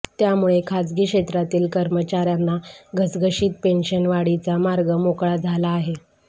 त्यामुळे खासगी क्षेत्रातील कर्मचाऱ्यांना घसघशीत पेन्शनवाढीचा मार्ग मोकळा झाला आहे